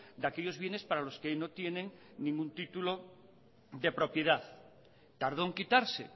de aquellos bienes para los que no tienen ningún título de propiedad tardó en quitarse